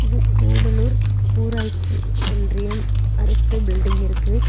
இது கூடலூர் ஊராட்சி ஒன்றியம் அரசு பில்டிங் இருக்கு.